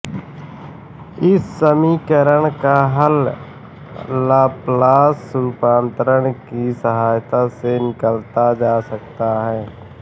इस समीकरण का हल लाप्लास रूपान्तर की सहायता से निकाला जा सकता है